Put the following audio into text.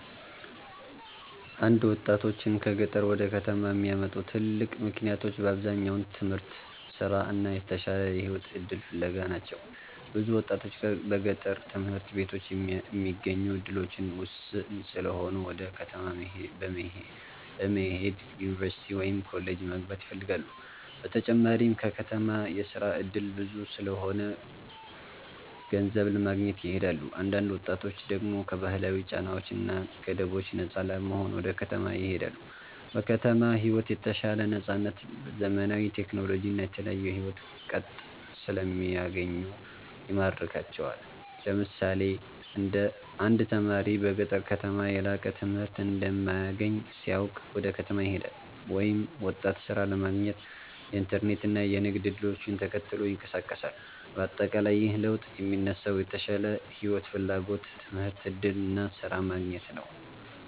1ወጣቶችን ከገጠር ወደ ከተማ የሚያመጡ ትልቅ ምክንያቶች በአብዛኛው ትምህርት፣ ስራ እና የተሻለ የህይወት እድል ፍለጋ ናቸው። ብዙ ወጣቶች በገጠር ትምህርት ቤቶች የሚገኙ እድሎች ውስን ስለሆኑ ወደ ከተማ በመሄድ ዩኒቨርሲቲ ወይም ኮሌጅ መግባት ይፈልጋሉ። በተጨማሪም በከተማ የስራ እድል ብዙ ስለሆነ ገንዘብ ለማግኘት ይሄዳሉ። አንዳንድ ወጣቶች ደግሞ ከባህላዊ ጫናዎች እና ገደቦች ነፃ ለመሆን ወደ ከተማ ይሄዳሉ። በከተማ ሕይወት የተሻለ ነፃነት፣ ዘመናዊ ቴክኖሎጂ እና የተለያዩ የሕይወት ቅጥ ስለሚገኙ ይማርካቸዋል። ለምሳሌ አንድ ተማሪ በገጠር ከተማ የላቀ ትምህርት እንደማይገኝ ሲያውቅ ወደ ከተማ ይሄዳል፤ ወይም ወጣት ሥራ ለማግኘት የኢንተርኔት እና የንግድ እድሎችን ተከትሎ ይንቀሳቀሳል። በአጠቃላይ ይህ ለውጥ የሚነሳው የተሻለ ሕይወት ፍላጎት፣ ትምህርት እድል እና ስራ ማግኘት ነው።